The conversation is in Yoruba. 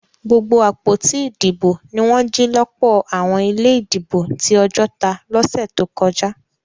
Gbogbo àpótí ìdìbò ní wọn jì lọpọ àwọn ilé ìdìbò tí Ojota lọsẹ tó kọjá